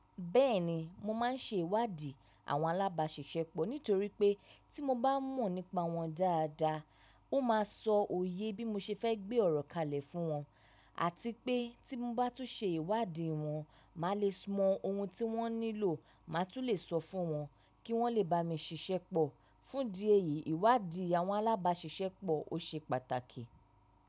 Bẹ́ẹ̀ni mo máa ń ṣe ìwádìí àwọn alábáṣiṣẹ́pọ̀ nítorí pé tí mo bá mọ̀ nípa wọn dáadáa, ó máa sọ òye bí mo ṣe fẹ́ gbé ọ̀rọ̀ kalẹ̀ fún wọn, àti pé tí mo bá tún ṣe ìwádìí wọn, màá le mọ ohun tí wọ́n nílò, màá tún lè sọ fún wọn kí wọ́n le bá mi ṣiṣẹ́pọ̀. Fún di ẹ́yìí, ìwádìí àwọn alábáṣiṣẹ́pọ̀ o ṣe pàtàkì.